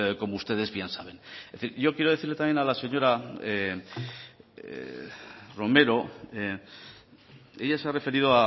como ustedes bien saben en fin yo quiero decirle también a la señora romero ella se ha referido